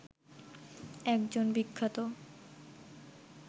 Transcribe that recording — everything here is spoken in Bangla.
একজন বিখ্যাত